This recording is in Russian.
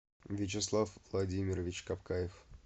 вячеслав владимирович капкаев